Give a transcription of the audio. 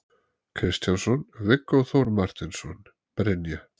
Kristjánsson, Viggó Þór Marteinsson, Brynja